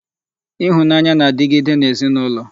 Ịhụnanya na-adịgide n'ezinụlọ